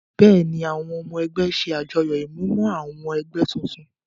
Bẹ́ẹ̀ ni àwọn ọmọ ẹgbẹ́ ṣe àjọyọ̀ ìmúmọ-awọ àwọn ẹgbẹ́ tuntun.